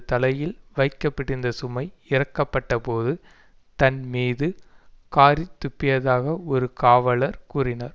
தலையில் வைக்க பட்டிருந்த சுமை இறக்கப்பட்டபோது தன் மீது காறித் துப்பியதாக ஒரு காவலர் கூறினார்